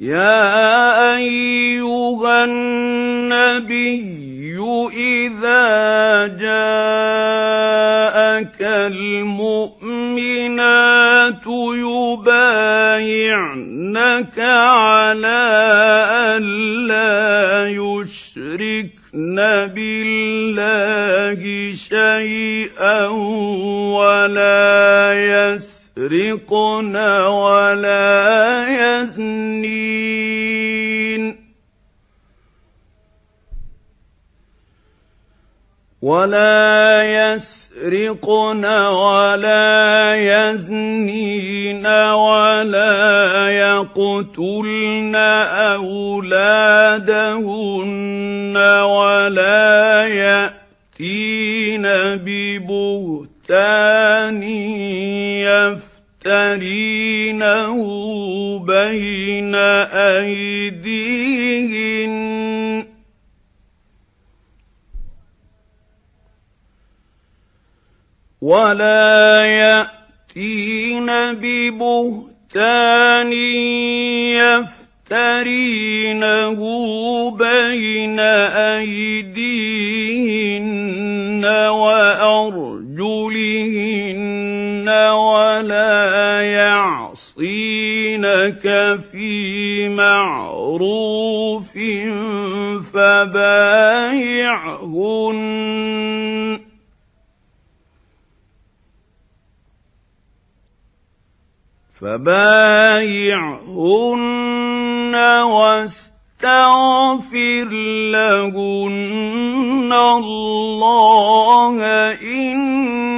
يَا أَيُّهَا النَّبِيُّ إِذَا جَاءَكَ الْمُؤْمِنَاتُ يُبَايِعْنَكَ عَلَىٰ أَن لَّا يُشْرِكْنَ بِاللَّهِ شَيْئًا وَلَا يَسْرِقْنَ وَلَا يَزْنِينَ وَلَا يَقْتُلْنَ أَوْلَادَهُنَّ وَلَا يَأْتِينَ بِبُهْتَانٍ يَفْتَرِينَهُ بَيْنَ أَيْدِيهِنَّ وَأَرْجُلِهِنَّ وَلَا يَعْصِينَكَ فِي مَعْرُوفٍ ۙ فَبَايِعْهُنَّ وَاسْتَغْفِرْ لَهُنَّ اللَّهَ ۖ إِنَّ اللَّهَ غَفُورٌ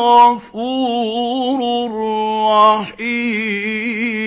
رَّحِيمٌ